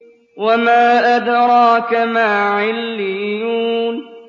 وَمَا أَدْرَاكَ مَا عِلِّيُّونَ